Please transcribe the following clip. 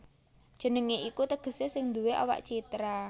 Jenengé iku tegesé sing nduwé awak citra